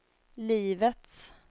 livets